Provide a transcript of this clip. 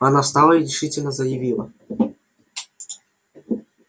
она встала и решительно заявила